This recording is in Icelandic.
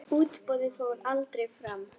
Útboðið fór aldrei fram.